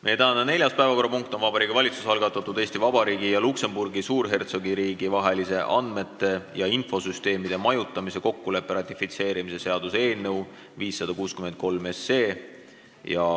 Meie tänane neljas päevakorrapunkt on Vabariigi Valitsuse algatatud Eesti Vabariigi ja Luksemburgi Suurhertsogiriigi vahelise andmete ja infosüsteemide majutamise kokkuleppe ratifitseerimise seaduse eelnõu 563.